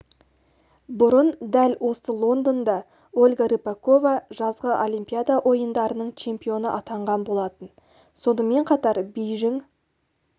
бұрын дәл осы лондонда ольга рыпакова жазғы олимпиада ойындарының чемпионы атанған болатын сонымен қатар бейжің